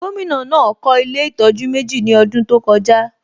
Gómìnà náà kọ́ ilé ìtọ́jú méjì ní ọdún tó kọjá